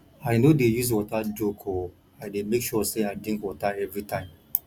i no dey use water joke o i dey make sure sey i drink water everytime